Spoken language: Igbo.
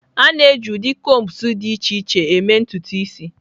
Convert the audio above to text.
A na-eji ụdị combs dị iche iche eme ntutu isi.